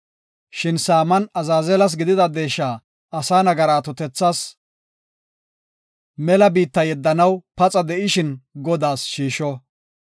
Shin saaman Azaazelas gidida deesha asa nagaraa atotethas mela biitta yeddanaw paxa de7ishin Godaas shiisho.